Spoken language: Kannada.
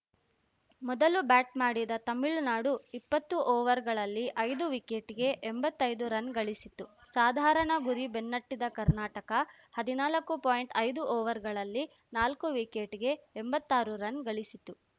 ಮೊದಲು ಬ್ಯಾಟ್‌ ಮಾಡಿದ ತಮಿಳುನಾಡು ಇಪ್ಪತ್ತು ಓವರ್‌ಗಳಲ್ಲಿ ಐದು ವಿಕೆಟ್‌ಗೆ ಎಂಬತ್ತೈದು ರನ್‌ಗಳಿಸಿತು ಸಾಧಾರಣ ಗುರಿ ಬೆನ್ನಟ್ಟಿದ ಕರ್ನಾಟಕ ಹದಿನಾಲ್ಕು ಪಾಯಿಂಟ್ಐದು ಓವರ್‌ಗಳಲ್ಲಿ ನಾಲ್ಕು ವಿಕೆಟ್‌ಗೆ ಎಂಬತ್ತಾರು ರನ್‌ಗಳಿಸಿತು